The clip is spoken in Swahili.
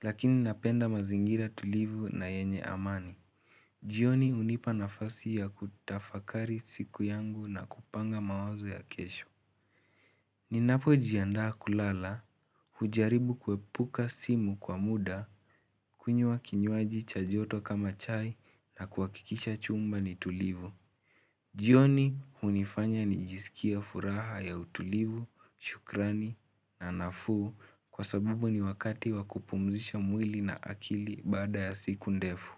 lakini napenda mazingira tulivu na yenye amani. Jioni unipa nafasi ya kutafakari siku yangu na kupanga mawazo ya kesho. Ninapojiandaa kulala hujaribu kuepuka simu kwa muda kunywa kinywaji cha joto kama chai na kuwakikisha chumba ni tulivu. Jioni unifanya ni jisikia furaha ya utulivu, shukrani na nafuu kwa sabubu ni wakati wakupumzisha mwili na akili baada ya siku ndefu.